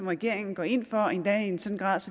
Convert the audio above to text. regeringen går ind for endda i en sådan grad